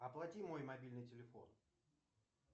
оплати мой мобильный телефон